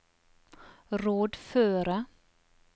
rådføre